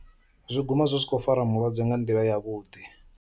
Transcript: Zwi guma zwi si kho fara mulwadze nga nḓila ya vhuḓi.